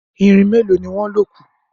Irin meloni wón lọ kù.